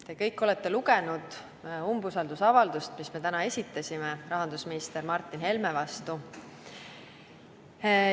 Te kõik olete lugenud umbusaldusavaldust, mille me täna esitasime rahandusminister Martin Helme vastu.